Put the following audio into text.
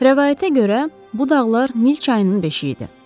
Rəvayətə görə bu dağlar Nil çayının beşiyi idi.